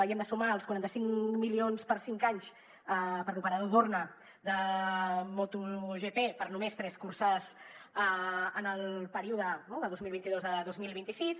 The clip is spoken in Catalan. hi hem de sumar els quaranta cinc milions per cinc anys per a l’operador dorna de moto gp per només tres curses en el període no de dos mil vint dos a dos mil vint sis